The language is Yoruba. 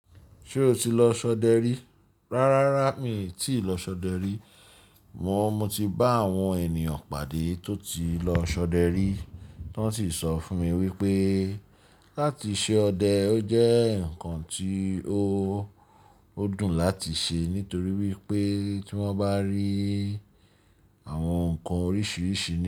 Ṣé o ti lọ ṣọdẹ rí? Rárára mi ò tíì lọ ṣọdẹ rí. Amọ, mo ti bá àwọn ènìyàn pàdé tó ti lọ ṣọdẹ rí, t'wọ́n sì sọ fún mi wípé láti ṣe ọdẹ ó jẹ́ ǹkan tí o, ó dùn láti ṣe nítorí wípé tí wọ́n bá rí àwọn ǹkan oríṣiríṣi.